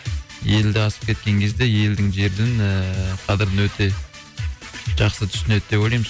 елді асып кеткен кезде елдің жердің ііі қадірін өте жақсы түсінеді деп ойлаймыз